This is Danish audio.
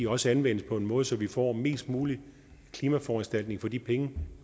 også anvendes på en måde så vi får mest mulig klimaforanstaltning for de penge